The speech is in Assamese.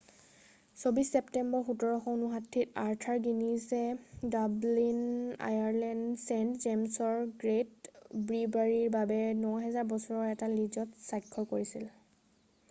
২৪ ছেপ্টেম্বৰ ১৭৫৯-ত আৰ্থাৰ গিনিজে ডাব্লিন আয়াৰলেণ্ডৰ ছেইণ্ট জেম্‌ছৰ গে'ট ব্ৰিৱাৰীৰ বাবে ৯০০০ বছৰৰ এটা লীজত স্বাক্ষৰ কৰিছিল।